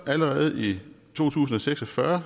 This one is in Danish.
allerede i to tusind og seks og fyrre